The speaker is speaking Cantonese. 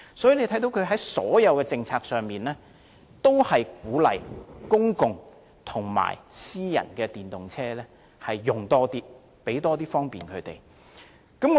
因此，內地在所有政策上均鼓勵更多使用公共和私人電動車，盡量給予方便。